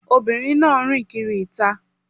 Obìnrin náà rìn kiri ìta.